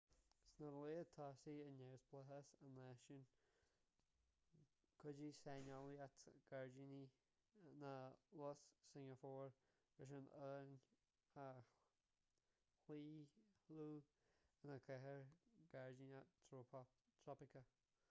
sna laethanta tosaigh i neamhspleáchas an náisiúin chuidigh saineolaíocht ghairdíní na lus shingeapór leis an oileán a chlaochlú ina chathair ghairdíneach thrópaiceach